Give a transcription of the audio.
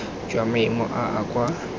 jwa maemo a a kwa